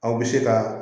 Aw bɛ se ka